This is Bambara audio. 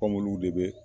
de be